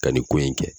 Ka nin ko in kɛ